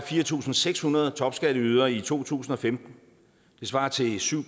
fire tusind seks hundrede topskatteydere i to tusind og femten det svarer til syv